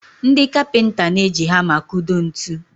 Ndị kapịnta n'eji hama akụdo ntu